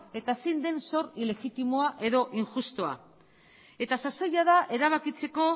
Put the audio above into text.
eta zein den zor ilegitimoa edo injustua eta sasoia da erabakitzeko